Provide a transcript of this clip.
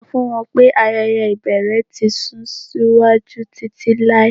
Sọ fun wọn pe ayẹyẹ ibẹrẹ ti sun siwaju titilai